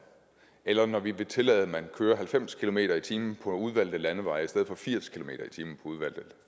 eller når vi vil tillade at man kører halvfems kilometer per time på udvalgte landeveje i stedet for firs kilometer per time